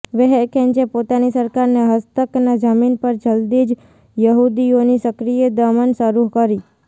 વેહરખેંચે પોતાની સરકારને હસ્તકના જમીન પર જલદી જ યહુદીઓની સક્રિય દમન શરૂ કરી